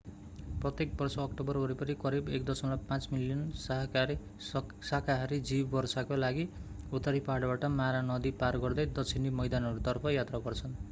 प्रत्येक वर्ष अक्टोबर वरिपरि करिब 1.5 मिलियन साकाहारी जीव वर्षाका लागि उत्तरी पहाडबाट मारा नदी पार गर्दै दक्षिणी मैदानहरूतर्फ यात्रा गर्छन्